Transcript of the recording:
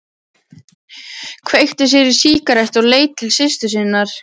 Kveikti sér í sígarettu og leit til systur sinnar.